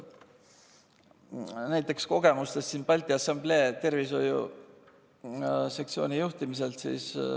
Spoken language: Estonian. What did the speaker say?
Näiteks on mul kogemusi Balti Assamblee tervishoiusektsiooni juhtimisest.